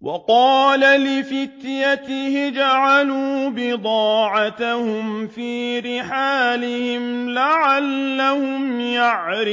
وَقَالَ لِفِتْيَانِهِ اجْعَلُوا بِضَاعَتَهُمْ فِي رِحَالِهِمْ لَعَلَّهُمْ يَعْرِفُونَهَا